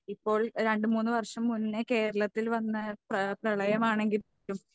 ഇപ്പോൾ രണ്ടു മൂന്നു വർഷം മുന്നേ കേരളത്തിൽ വന്ന പ്ര പ്രളയമാണെങ്കിൽ കൂടിയും